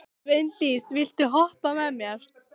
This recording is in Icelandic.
Sveindís, viltu hoppa með mér?